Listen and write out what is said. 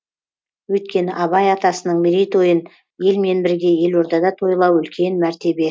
өйткені абай атасының мерейтойын елмен бірге елордада тойлау үлкен мәртебе